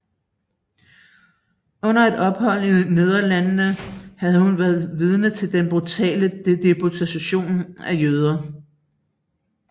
Under et ophold i Nederlandene havde hun været vidne til den brutale deportation af jøder